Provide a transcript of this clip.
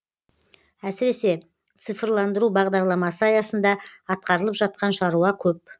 әсіресе цифрландыру бағдарламасы аясында атқарылып жатқан шаруа көп